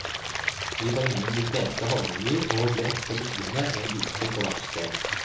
Vi var innom de fleste havnebyer og ble ofte liggende en uke på hvert sted.